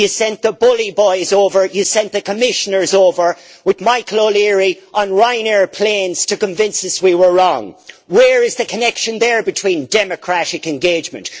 You sent the bully boys over. You sent the Commissioners over with Michael O'Leary on Ryanair planes to convince us we were wrong. Where is the connection there with democratic engagement?